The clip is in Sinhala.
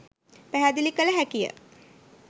පැහැදිලි කළ හැකිය.